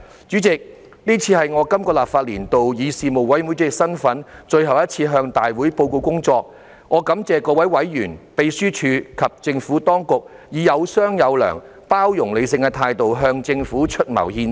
主席，這是我在這個立法年度以事務委員會主席身份，最後一次向大會報告工作，我感謝各位委員、秘書處及政府當局以有商有量、包容理性的態度向政府出謀獻策。